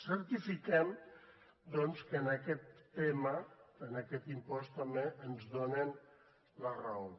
certifiquem doncs que en aquest tema en aquest impost també ens donen la raó